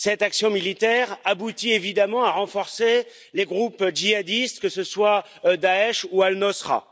Cette action militaire aboutit évidemment à renforcer les groupes djihadistes, que ce soit Daech ou Al Nosra.